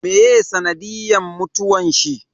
Meye sanadiyan mutuwan shi?